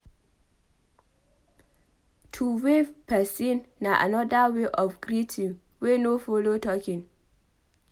To wave person na anoda wey of greeting wey no follow talking